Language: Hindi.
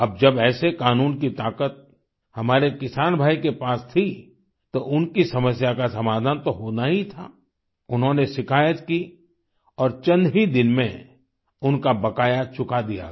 अब जब ऐसे कानून की ताकत हमारे किसान भाई के पास थी तो उनकी समस्या का समाधान तो होना ही था उन्होंने शिकायत की और चंद ही दिन में उनका बकाया चुका दिया गया